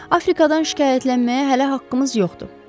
Afrikadan şikayətlənməyə hələ haqqımız yoxdur.